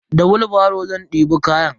Da wilbaro zan ɗebe kayan.